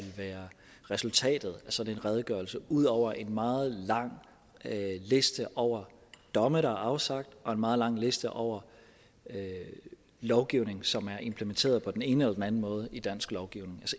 være resultatet af sådan en redegørelse ud over en meget lang liste over domme der er afsagt og en meget lang liste over lovgivning som er implementeret på den ene eller den anden måde i dansk lovgivning